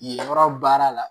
Yɔrɔ baara la